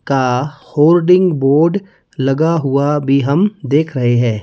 का holding board लगा हुआ भी हम देख रहे हैं ।